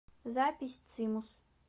запись цимус